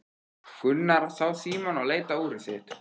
Gunnar sá Símon og leit á úrið sitt.